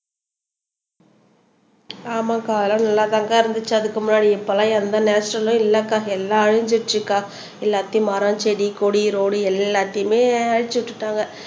ஆமாக்கா எல்லாம் நல்லாதான்க்கா இருந்துச்சு அதுக்கு முன்னாடி இப்ப எல்லாம் எந்த நேச்சரலும் இல்லக்கா எல்லாம் அழிஞ்சிருச்சுக்கா எல்லாத்தையும் மரம் செடி கொடி ரோடு எல்லாத்தையுமே அழிச்சு விட்டுட்டாங்க